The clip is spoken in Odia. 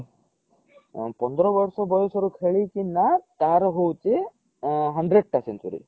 ହଁ ପନ୍ଦର ବର୍ଷ ବୟସ ରୁ ଖେଳିକି ନା ତାର ହୋଉଚି hundred ଟା century